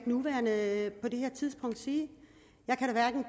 nuværende tidspunkt sige jeg kan da hverken